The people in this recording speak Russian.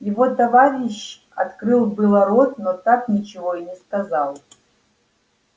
его товарищ открыл было рот но так ничего и не сказал